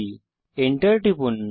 Enter টিপুন